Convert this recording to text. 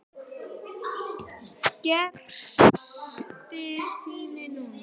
Gerðist það núna?